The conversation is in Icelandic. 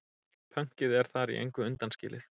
Pönkið er þar í engu undanskilið.